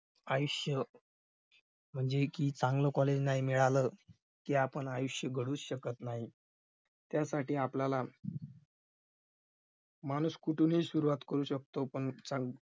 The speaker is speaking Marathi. आयुष्य म्हणजे की चांगले college नाही मिळालं कि आपण आयुष्य घडू शकत नाही त्यासाठी आपल्याला माणूस कुठूनही सुरुवात करू शकतो पण